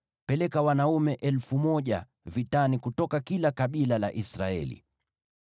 Peleka wanaume 1,000 vitani kutoka kila kabila la Israeli.”